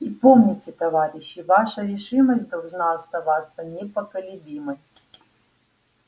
и помните товарищи ваша решимость должна оставаться непоколебимой